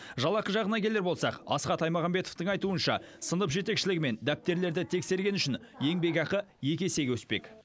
жалақы жағына келер болсақ асхат аймағамбетовтың айтуынша сынып жетекшілігі мен дәптерлерді тексергені үшін еңбекақы екі есеге өспек